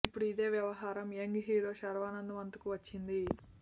ఇప్పుడు ఇదే వ్యవహారం యంగ్ హీరో శర్వానంద్ వంతుకు వచ్చింది